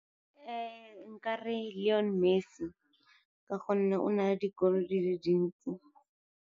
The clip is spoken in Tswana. Nka re Lionel Messi, ka gonne o na le dikoloi di le dintsi.